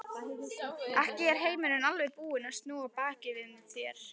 Ekki er heimurinn alveg búinn að snúa baki við þér.